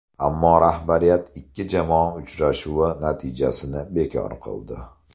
Ammo rahbariyat ikki jamoa uchrashuvi natijasini bekor qildi.